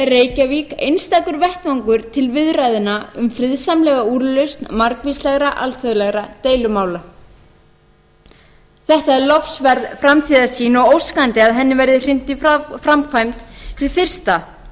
reykjavík einstakur vettvangur til viðræðna um friðsamlega úrlausn margvíslegra alþjóðlegra deilumála þetta er lofsverð framtíðarsýn og óskandi að henni verði hrint í framkvæmd hið fyrsta